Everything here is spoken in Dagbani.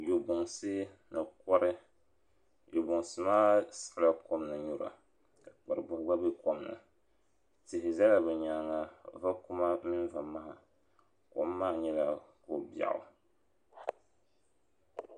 Yobunsi ni kɔri yobunsi maa aiɣila kom ni n nyura ka kparibuhi gba bɛ kom ni tihi zala bi yɛanga vakuma mini vamaha kom maa nyɛla ko biɛɣu.